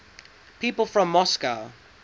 people from moscow